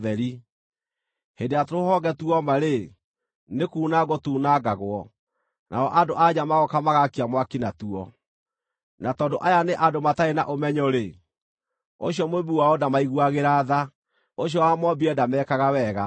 Hĩndĩ ĩrĩa tũrũhonge tuoma-rĩ, nĩkunangwo tuunangagwo, nao andũ-a-nja magooka magaakia mwaki natuo. Na tondũ aya nĩ andũ matarĩ na ũmenyo-rĩ, ũcio Mũũmbi wao ndamaiguagĩra tha, ũcio wamoombire ndamekaga wega.